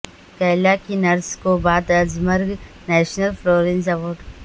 کیرالا کی نرس کو بعد از مرگ نیشنل فلورینس ایوارڈ